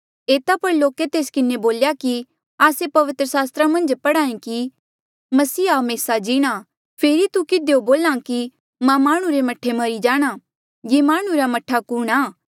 एता पर लोके तेस किन्हें बोल्या कि आस्से पवित्र सास्त्रा मन्झ पढ़ेया कि मसीहा हमेसा जीणां फेरी तू किधियो बोल्हा कि माह्णुं रे मह्ठे मरी जाणा ये माह्णुं रा मह्ठा कुणहां